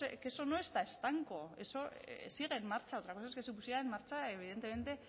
que eso no está estanco eso sigue en marcha otra cosa es que se pusiera en marcha evidentemente